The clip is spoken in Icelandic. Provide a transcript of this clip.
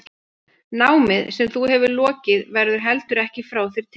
Námið sem þú hefur lokið verður heldur ekki frá þér tekið.